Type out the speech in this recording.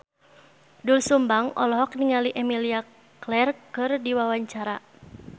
Doel Sumbang olohok ningali Emilia Clarke keur diwawancara